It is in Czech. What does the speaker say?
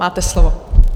Máte slovo.